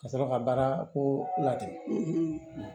Ka sɔrɔ ka baara ko ladon